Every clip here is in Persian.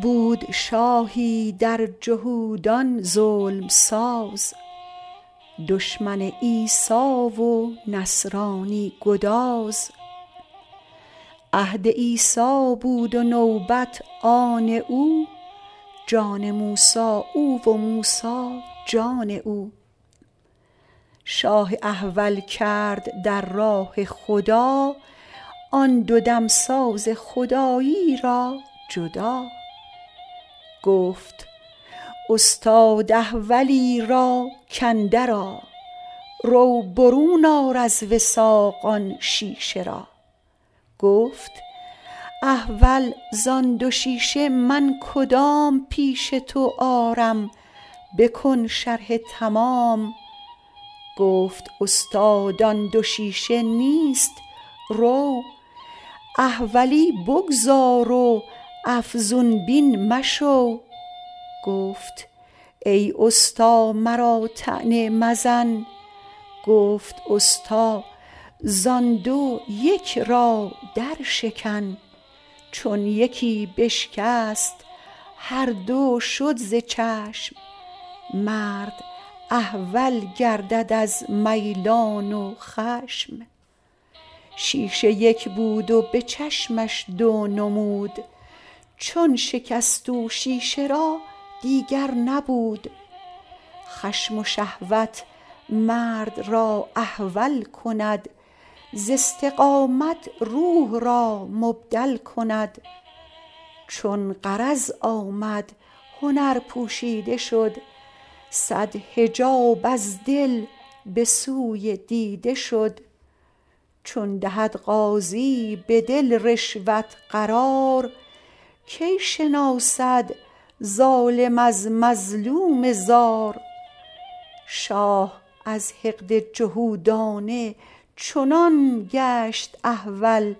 بود شاهی در جهودان ظلم ساز دشمن عیسی و نصرانی گداز عهد عیسی بود و نوبت آن او جان موسی او و موسی جان او شاه احول کرد در راه خدا آن دو دمساز خدایی را جدا گفت استاد احولی را کاندر آ رو برون آر از وثاق آن شیشه را گفت احول زان دو شیشه من کدام پیش تو آرم بکن شرح تمام گفت استاد آن دو شیشه نیست رو احولی بگذار و افزون بین مشو گفت ای استا مرا طعنه مزن گفت استا زان دو یک را در شکن چون یکی بشکست هر دو شد ز چشم مرد احول گردد از میلان و خشم شیشه یک بود و به چشمش دو نمود چون شکست او شیشه را دیگر نبود خشم و شهوت مرد را احول کند ز استقامت روح را مبدل کند چون غرض آمد هنر پوشیده شد صد حجاب از دل به سوی دیده شد چون دهد قاضی به دل رشوت قرار کی شناسد ظالم از مظلوم زار شاه از حقد جهودانه چنان گشت احول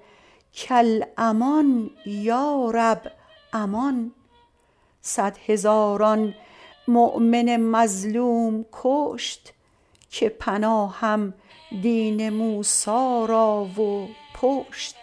کالامان یا رب امان صد هزاران مؤمن مظلوم کشت که پناهم دین موسی را و پشت